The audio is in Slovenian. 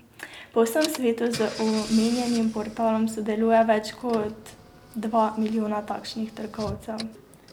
Po vsem svetu z omenjenim portalom sodeluje več kot dva milijona takšnih trgovcev.